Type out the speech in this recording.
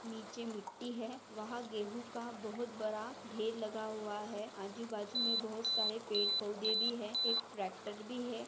नीचे मिट्टी है वहा गेहु हा बहुत बड़ा ढेर लगा हुआ है आजू बाजू मैं बहुत सारे पेड़ पौधे भी है एक ट्रॅक्टर भी है।